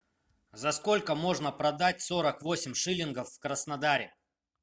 за сколько можно продать сорок восемь шиллингов в краснодаре